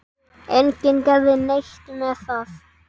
Enginn gerði neitt með það.